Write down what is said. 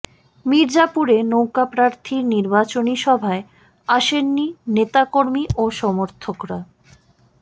মির্জাপুরে নৌকা প্রার্থীর নির্বাচনী সভায় আসেননি নেতাকর্মী ও সমর্থকরা